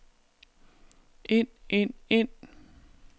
ind ind ind